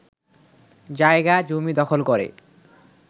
জায়গা-জমি দখল করে